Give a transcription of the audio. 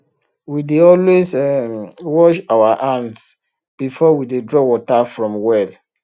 we dey always um wash our hands before we dey draw water from well